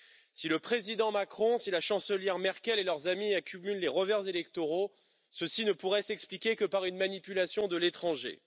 Si le président Macron, la chancelière Merkel et leurs amis accumulent les revers électoraux, cela ne pourrait s'expliquer que par une manipulation de l'étranger.